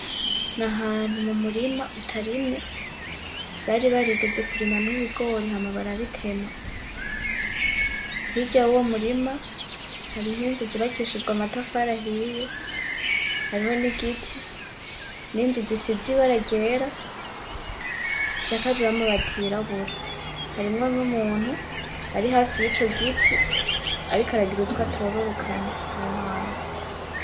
Nahantu mu murima utarimye bari barigeze kurimamwo ibigori hama barabitema. Hirya yuwo murima hariho inzu z'ubakishijwe amatafari ahiye, hariho n'igiti n'inzu zisize ibara ryera zisakajwe n'amabati y'irabura, harimwo n'umuntu ari hafi y'ico giti ariko aragira utwo atororokanya aho hantu.